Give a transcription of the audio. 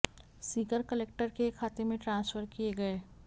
Sikar collector के खाते में ट्रांसफर किए गए